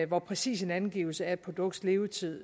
hvor præcis en angivelse af et produkts levetid